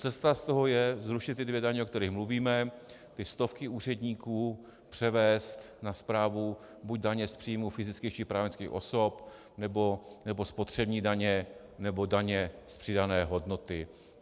Cesta z toho je zrušit ty dvě daně, o kterých mluvíme, ty stovky úředníků převést na správu buď daně z příjmů fyzických či právnických osob, nebo spotřební daně, nebo daně z přidané hodnoty.